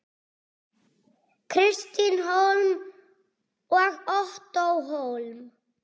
Kristín Hólm og Ottó Hólm.